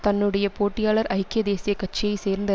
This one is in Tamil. தன்னுடைய போட்டியாளர் ஐக்கிய தேசிய கட்சியை சேர்ந்த